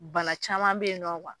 Bana caman bɛ yen nɔ